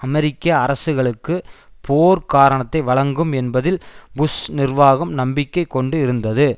அமெரிக்க அரசுகளுக்கு போர்க் காரணத்தை வழங்கும் என்பதில் புஷ் நிர்வாகம் நம்பிக்கை கொண்டு இருந்தது